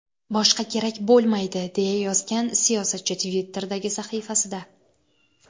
Boshqa kerak bo‘lmaydi!” deya yozgan siyosatchi Twitter’dagi sahifasida.